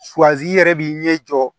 i yɛrɛ b'i ɲɛ jɔ